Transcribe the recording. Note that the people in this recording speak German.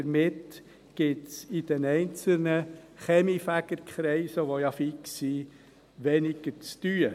Damit gibt es in den einzelnen Kaminfegerkreisen, die ja fix sind, weniger zu tun.